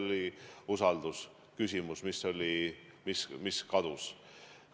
Tekkis usaldusküsimus, usaldus kadus.